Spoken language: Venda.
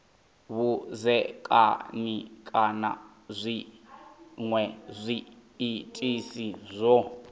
vhudzekani kana zwinwe zwiitisi zwo